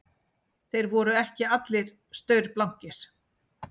Þeir voru ekki allir staurblankir